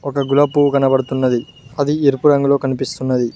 ఇక్కడ ఒక గులాబీ పువ్వు కనబడుతున్నది అది ఎరుపు రంగులో కనిపిస్తున్నది.